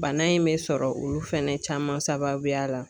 Bana in bɛ sɔrɔ olu fɛnɛ caman sababuya la.